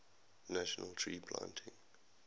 national tree planting